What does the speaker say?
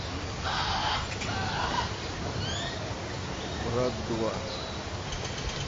брат два